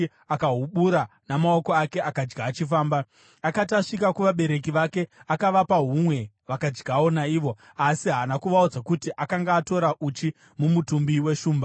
akahubura namaoko ake akadya achifamba. Akati asvika kuvabereki vake akavapa humwe vakadyawo naivo. Asi haana kuvaudza kuti akanga atora uchi mumutumbi weshumba.